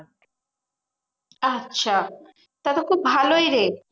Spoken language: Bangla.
আচ্ছা তা তো খুব ভালোই রে।